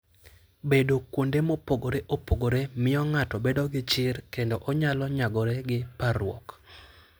Bedo kuonde mopogore opogore miyo ng'ato bedo gi chir kendo onyalo nyagore gi parruok.